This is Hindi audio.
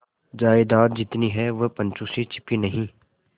जायदाद जितनी है वह पंचों से छिपी नहीं